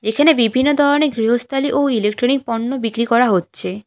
এখানে বিভিন্ন ধরনের গৃহস্থালি ও ইলেকট্রনিক পণ্য বিক্রি করা হচ্ছে।